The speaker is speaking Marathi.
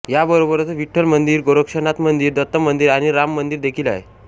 याबरोबरच विठ्ठल मंदिर गोरक्षनाथ मंदिर दत्त मंदिर आणि राम मंदिर देखील आहे